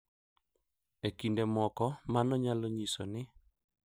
E kinde moko, mano nyalo nyiso ni .